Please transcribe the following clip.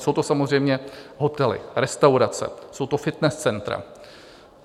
Jsou to samozřejmě hotely, restaurace, jsou to fitness centra.